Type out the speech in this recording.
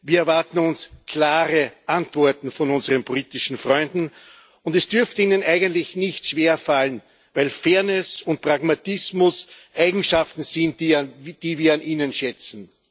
Wir erwarten uns klare Antworten von unseren politischen Freunden, und es dürfte ihnen eigentlich nicht schwerfallen, weil Fairness und Pragmatismus Eigenschaften sind, die wir an ihnen schätzen.